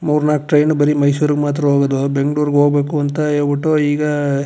ಮೂರ್ ನಾಕ್ ಟ್ರೈನ್ ಬರಿ ಮೈಸೂರ್ ಗೆ ಮಾತ್ರ ಹೋಗೋದು ಬೆಂಗಳೂರ್ ಗೆ ಹೋಗಬೇಕು ಅಂತ ಹೇಳ್ ಬಿಟ್ಟು ಈಗ.